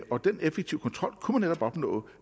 og den effektive kontrol kunne man netop opnå